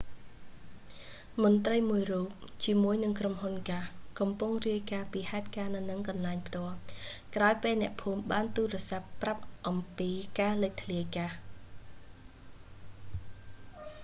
មន្ត្រីមួយរូបជាមួយនឹងក្រុមហ៊ុនហ្គាស៍ កំពុងរាយការណ៍ពីហេតុការណ៍នៅនឹងកន្លែងផ្ទាល់ ក្រោយពេលអ្នកភូមិបានទូរស័ព្ទប្រាប់អំពីការលេចធ្លាយហ្គាស៍